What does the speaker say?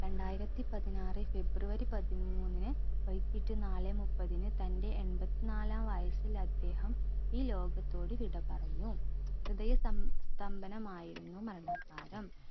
രണ്ടായിരത്തി പതിനാറ് ഫെബ്രുവരി പതിമൂന്നിന് വൈകീട്ട് നാലേ മുപ്പതിന് തൻറെ എമ്പത്ത്നാലാം വയസ്സിൽ അദ്ദേഹം ഈ ലോകത്തോട് വിട പറഞ്ഞു ഹൃദയ സം സ്തംഭനമായിരുന്നു മരണകാണം